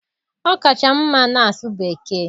Ọ kacha m mma n'asụ Bekee.